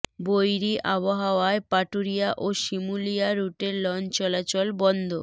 বৈরী আবহাওয়ায় পাটুরিয়া ও শিমুলিয়া রুটে লঞ্চ চলাচল বন্ধ